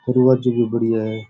दरवाजे भी बढ़िया है।